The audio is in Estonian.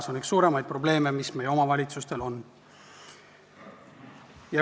See on üks suuremaid probleeme, mis meie omavalitsustel on.